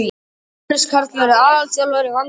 Jóhannes Karl verður aðalþjálfari og Vanda aðstoðar.